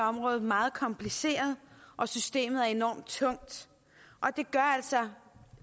område meget kompliceret og systemet er enormt tungt det gør altså